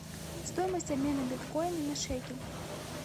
стоимость обмена биткоина на шекель